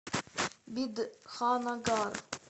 бидханнагар